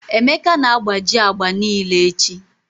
Emeka na-agbaji agba niile echi.